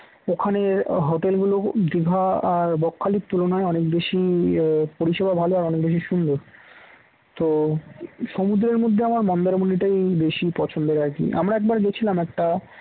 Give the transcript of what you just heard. ওখানের hotel গুলো দিঘা আর বকখালির তুলনায় অনেক বেশি পরিষেবা ভালো আর অনেক বেশি সুন্দর তো সমুদ্রের মধ্যে আমার মন্দারমনি টাই বেশি পছন্দের আর কি আমরা একবার গিয়েছিলাম একটা